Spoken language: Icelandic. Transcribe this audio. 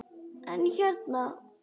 En hérna.